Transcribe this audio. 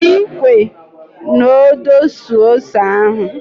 Jiri ikwe na odo suo ose ahu